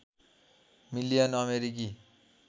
million अमेरिकी